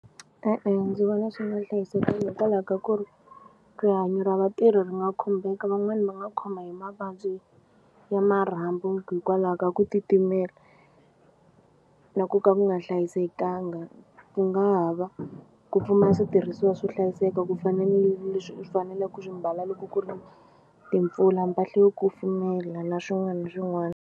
E-e, ndzi vona swi nga hlayisekanga hikwalaho ka ku ri rihanyo ra vatirhi ri nga khumbeka van'wani va nga khoma hi mavabyi ya marhambu hikwalaho ka ku titimela na ku ka ku nga hlayisekanga ku nga ha va ku pfumala switirhisiwa swo hlayiseka ku fana ni leswi u swi fanele ku swi mbala loko ku ri timpfula mpahla yo kufumela na swin'wana ni swin'wana.